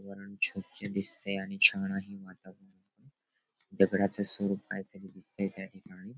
वरुण स्वच्छ दिसतय आणि छान आहे वातावरण दगडाच स्वरूप कायतरी दिसतय त्याठिकाणी --